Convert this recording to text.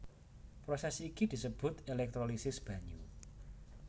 Prosès iki disebut èlèktrolisis banyu